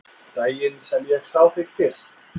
Daginn sem ég sá þig fyrst.